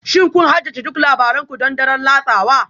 Shin kun haddace duk labaran ku don daren latsawa?